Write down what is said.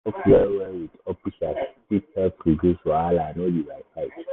to dey talk well-well with officers fit help reduce wahala no be by fight.